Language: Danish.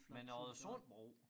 Men æ Oddesundbro